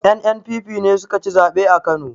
NNPP ne sukaci zaɓe a kano